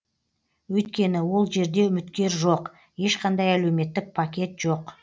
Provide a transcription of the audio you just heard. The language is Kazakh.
өйткені ол жерде үміткер жоқ ешқандай әлеуметтік пакет жоқ